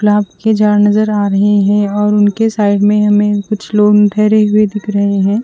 के झाड नज़र आ रहे है और उनके साइड में हमे कुछ लोग ठहरेहुए दिख रहे है।